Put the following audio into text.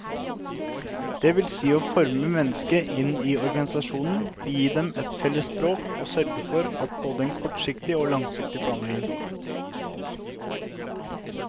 Det vil si å forme menneskene inn i organisasjonen og gi dem et felles språk og sørge for både en kortsiktig og langsiktig planlegging.